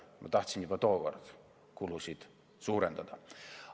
Ma tahtsin juba tookord kulusid suurendada.